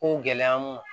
Ko gɛlɛya mun